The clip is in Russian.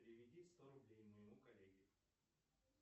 переведи сто рублей моему коллеге